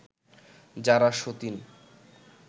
যারা সতিন